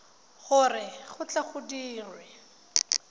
gore go tle go dirwe